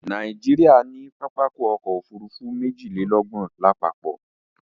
Nàìjíríà ní pápákọ̀ ọ̀kọ òfurufú méjìlélọ́gbọ̀n lápapọ̀